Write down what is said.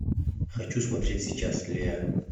хочу смотреть сейчас леа